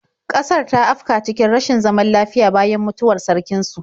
Ƙasar ta afka cikin rashin zaman lafiya bayan mutuwar sarkin su.